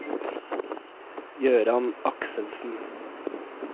Jøran Akselsen